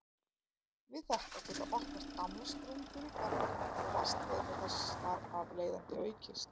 Við þetta geta opnast gamlar sprungur í berginu og vatnsleiðni þess þar af leiðandi aukist.